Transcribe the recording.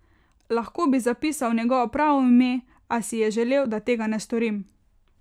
Lahko bi zapisal njegovo pravo ime, a si je želel, da tega ne storim.